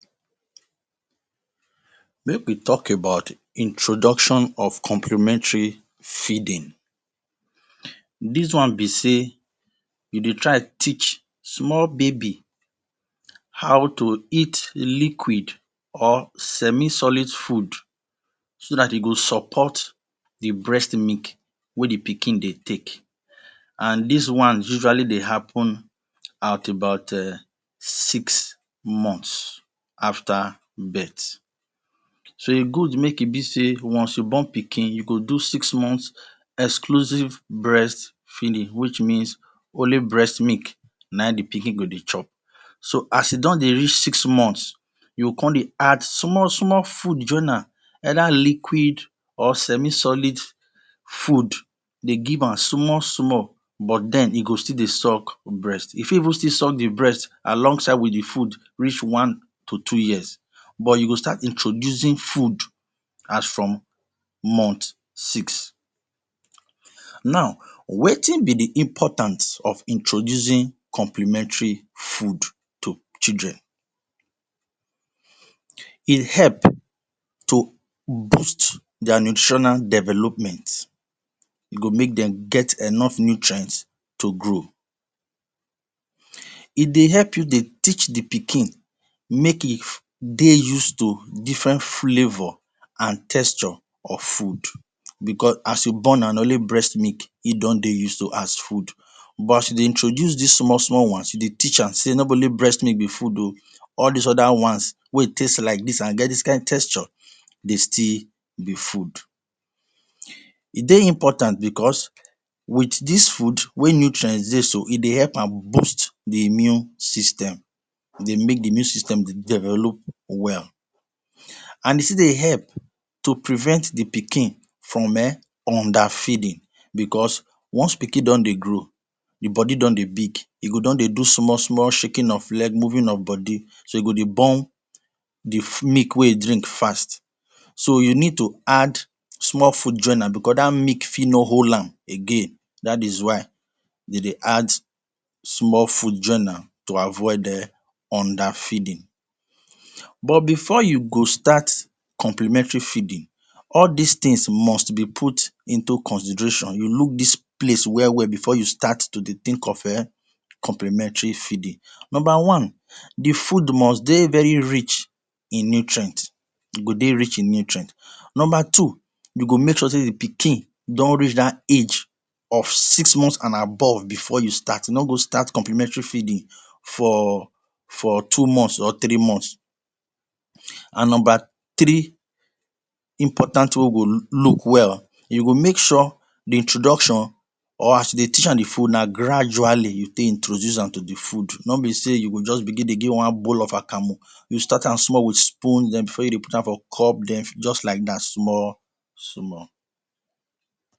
Make we talk about introduction of complementary feeding: Dis one be sey you de try teach small baby how to eat liquid or semi solid food so that e go support the breast milk wey the pikin de take and dis one usually de happen at about six months after birth. So e good make e be sey once you born pikin you go do six months exclusive breastfeeding which means only breast milk na in the pikin go de chop so as e don de reach six months you go come de add small small food join am either liquid or semi solid food de give am small small but dem e go still de suck breast. E fit even suck the breast along the food reach six to two years but you go start introducing food as from month six now Wetin be the importance of introducing complementary food to children, E help to boost their nutritional development, e go make dem get enough nutrient to grow, e de help you de teach the pikin make e de used to different flavor and texture of food because as you born amm na only breast milk e don de used to as food but as you de introduce dis small small ones you de teach am sey no be only breast milk be food ooh all dis other ones wey taste like dis and get dis kind texture den still be food. E de important because with dis food wey nutrient de so e de help amm boost the immune system e de make the immune system dey develop well. And e still dey help and e still de help to prevent the pikin from under feeding because once pikin don de grow the body don de big e go don de do small small shaking of leg, moving of body so e go de burn the milk wey e drink fast so you need to add small food join am because that milk fit no hold am again that is why dem de add small food join am to avoid under feeding. But before you go start complementary feeding. All dis things must be put into consideration you look dis place well well before you start to de think of eeh complementary feeding. number one the food must dey very rich in nutrients e go de rich in nutrients. Number two You go make sure sey the pikin don reach that age of six months and above before you start no go start no go start complementary feeding for for two months or three months And number three Important thing wey we go look well you go make sure the introduction or as you de teach am the food na gradually you take introduce am to the food no be sey you go just begin de give am one bowl of akamu you start am small with spoon then before you de put am for cup then just like that small small.